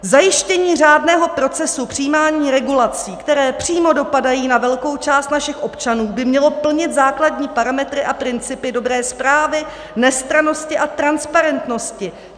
Zajištění řádného procesu přijímání regulací, které přímo dopadají na velkou část našich občanů, by mělo plnit základní parametry a principy dobré správy, nestrannosti a transparentnosti.